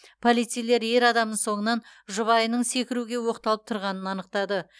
полицейлер ер адамның соңынан жұбайының секіруге оқталып тұрғанын анықтады